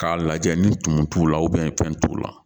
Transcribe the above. K'a lajɛ ni tumu t'u la fɛn t'u la